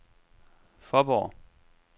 Faaborg